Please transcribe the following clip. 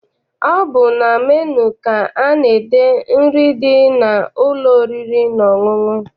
Ọ bụ na menu ka ana-ede nri dị n'ụlọ oriri na ọṅụṅụ.